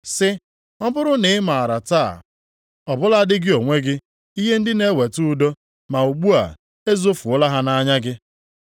sị, “Ọ bụrụ na ị maara taa, ọ bụladị gị onwe gị, ihe ndị na-eweta udo! Ma ugbu a, ezofuola ha nʼanya gị.